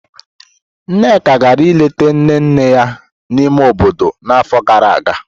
Nneka gara ileta nne nne ya n'ime obodo n'afọ gara aga.